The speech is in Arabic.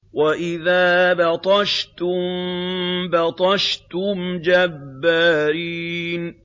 وَإِذَا بَطَشْتُم بَطَشْتُمْ جَبَّارِينَ